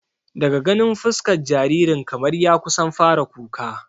Daga ganin fuskar jaririn kamar ya kusan fara kuka